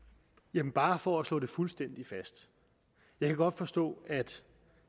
det er bare for at slå det fuldstændig fast jeg kan godt forstå at